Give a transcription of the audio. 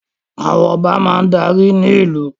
Àwọn Ọba máa darí ní ìlú